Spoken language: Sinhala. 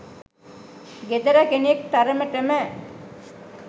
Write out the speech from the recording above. ගෙදර කෙනෙක් තරමටම